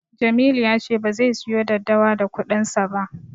Jamilu ya ce bazai siyo daddawa da kuɗinsa ba.